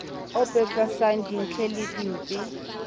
o pepesang dintle le dimpe